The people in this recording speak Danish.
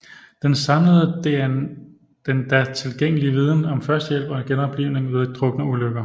Den samlede den da tilgængelige viden om førstehjælp og genoplivning ved drukneulykker